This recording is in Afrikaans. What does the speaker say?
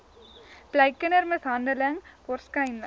bly kindermishandeling waarskynlik